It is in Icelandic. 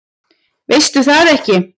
Veistu það ekki?